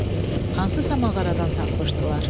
Hansısa mağaradan tapmışdılar.